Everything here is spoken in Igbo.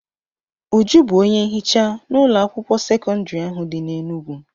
Uju bụ onye nhicha n'ụlọ akwụkwọ sekọndrị ahụ dị n'Enugwu.